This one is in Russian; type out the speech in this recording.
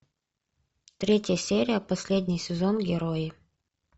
третья серия последний сезон герои